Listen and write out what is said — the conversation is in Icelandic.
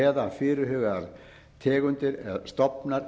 eða fyrirhugaðar tegundir stofnar